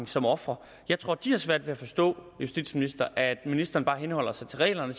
som ofre jeg tror at de har svært ved at forstå justitsministeren at ministeren bare henholder sig til reglerne